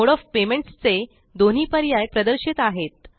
mode of payments चे दोन्ही पर्याय प्रदर्शित आहेत